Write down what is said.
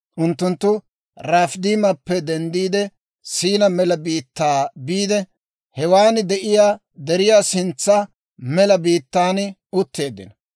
Unttunttu Rafiidimeppe denddiide Siina mela biittaa biide, hewaan de'iyaa deriyaa sintsa mela biittaan utteeddino.